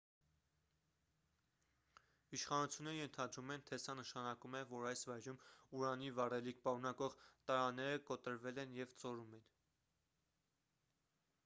իշխանությունները ենթադրում են թե սա նշանակում է որ այս վայրում ուրանի վառելիք պարունակող տարաները կոտրվել են և ծորում են